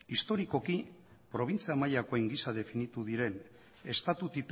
historikoki probintzia mailakoen gisa definitu diren estatu